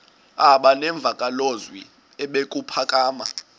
aba nemvakalozwi ebuphakama